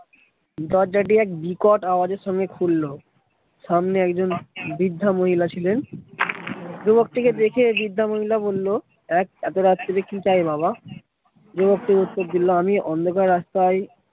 দরজাটি এক বিকট আওয়াজের সঙ্গে খুললো। সামনে একজন বৃদ্ধা মহিলা ছিলেন যুবকটিকে দেখে বৃদ্ধা মহিলা বললো এক, এতো রাত্রিরে কি চাই বাবা? যুবকটি উত্তর দিলো আমি অন্ধকার রাস্তায়